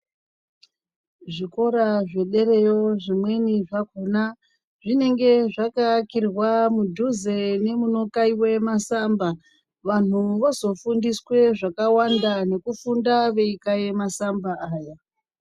Zvikora zvedera zvimweni zvakhona zvinenge zvakaakirwa mudhuze nemunokaiwa masamba. Vanhu vozofundiswa zvakawanda nekufunda veikaya masamba aya.